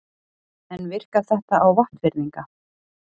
En virkar þetta á Vopnfirðinga?